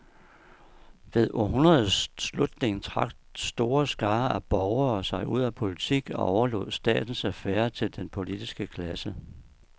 Ved århundredets slutning trak store skarer af borgere sig ud af politik og overlod statens affærer til den politiske klasse.